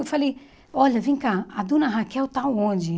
Eu falei, olha, vem cá, a dona Raquel está onde?